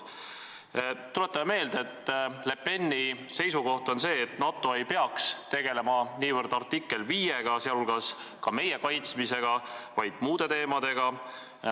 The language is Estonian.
Tuletame meelde, et Le Peni seisukoht on, et NATO ei peaks tegelema niivõrd artikliga 5, sh meie kaitsmisega, vaid muude teemadega.